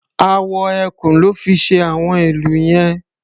Awọ ẹkùn lọ́ fi ṣe àwọn ìlù yẹn.